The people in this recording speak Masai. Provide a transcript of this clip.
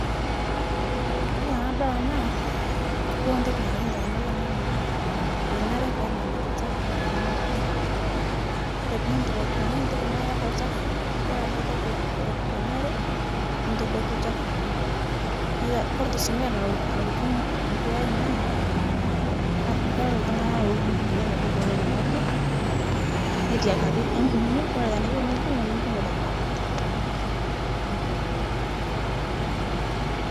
Kore tanadol ana, yiolo ntoki nalotu ndamunot ainen naa menare penang'ari lchafu teng'oji anang'nang'aa, kore piidip aitumiyia ntoki naa iyiata lchafu nibol ale toki lo lo lonyori nitodoki lchafu lino, neito Kore sii nkae nalo nalotu nkw nkweai naa, kadol ltung'ana lolpikipikini Ajo koponu ene ng'oji, netiakaki epung'o, Kore tanaa iyeu nipung'u epung'o tada bata